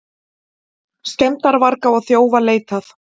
Skemmdarvarga og þjófa leitað